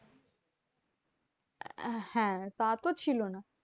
হ্যাঁ তা তো ছিল না।